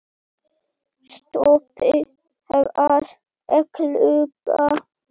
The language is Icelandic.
Stoppi hver klukka!